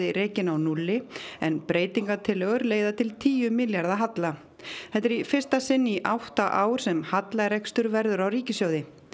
rekinn á núlli en breytingartillögur leiða til tíu milljarða halla þetta er í fyrsta sinn í átta ár sem hallarekstur verður á ríkissjóði